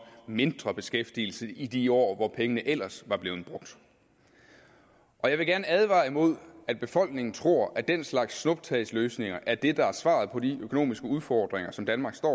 mindre beskæftigelse i de år hvor pengene ellers var blevet brugt jeg vil gerne advare imod at befolkningen tror at den slags snuptagsløsninger er det der er svaret på de økonomiske udfordringer som danmark står